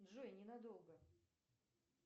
джой ненадолго